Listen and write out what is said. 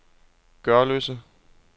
Gørløse